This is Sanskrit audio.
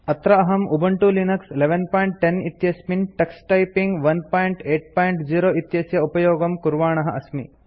अत्र अहं उबंटू लिनक्स 1110 इत्यस्मिन् टक्स टाइपिंग 180 इत्यस्य उपयोगं कुर्वाणः अस्मि